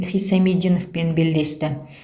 хисамиддиновпен белдесті